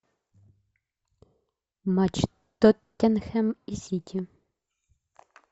матч тоттенхем и сити